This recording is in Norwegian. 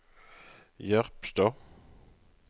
Jerpstad